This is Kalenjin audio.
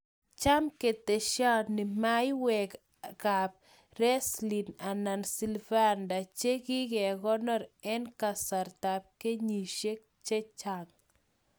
Cham ketesheni maiywek kap Riesling ana Sylvander che kikekonor en kasarta ab kenyisyek chechang